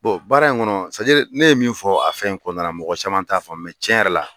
baara in kɔnɔ ne ye min fɔ a fɛn in kɔnɔna na mɔgɔ caman t'a fɔ tiɲɛ yɛrɛ la